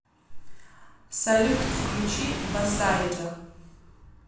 салют включи басайджа